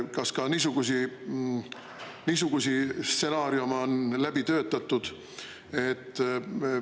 Kas ka niisuguseid stsenaariume on läbi töötatud?